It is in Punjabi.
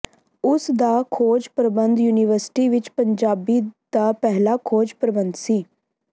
ਉਸ ਦਾ ਖੋਜ ਪ੍ਰਬੰਧ ਯੂਨੀਵਰਸਿਟੀ ਵਿਚ ਪੰਜਾਬੀ ਦਾ ਪਹਿਲਾ ਖੋਜ ਪ੍ਰਬੰਧ ਸੀ